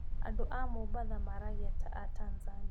Andũ a Mombatha maragia ta a Tanzania